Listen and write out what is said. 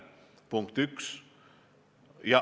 Punkt 1.